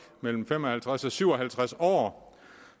mellem fem og halvtreds og syv og halvtreds år